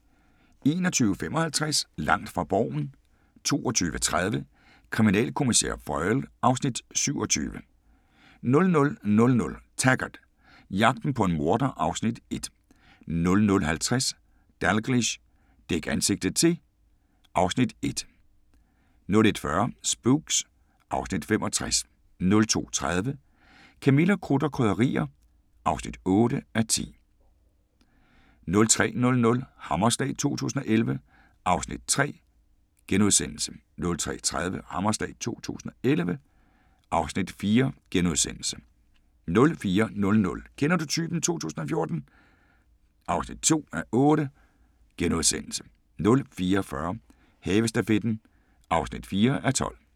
21:55: Langt fra Borgen 22:30: Kriminalkommissær Foyle (Afs. 27) 00:00: Taggart: Jagten på en morder (Afs. 1) 00:50: Dalgliesh: Dæk ansigtet til (Afs. 1) 01:40: Spooks (Afs. 65) 02:30: Camilla – Krudt og Krydderier (8:10) 03:00: Hammerslag 2011 (Afs. 3)* 03:30: Hammerslag 2011 (Afs. 4)* 04:00: Kender du typen 2014 (2:8)* 04:40: Havestafetten (4:12)